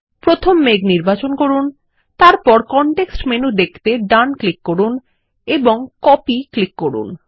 প্রথম মেঘ নির্বাচন করুন তারপর কনটেক্সট মেনু দেখতে ডান ক্লিক করুন এবং কপি ক্লিক করুন